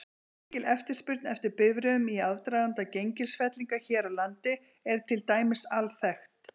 Mikil eftirspurn eftir bifreiðum í aðdraganda gengisfellinga hér á landi er til dæmis alþekkt.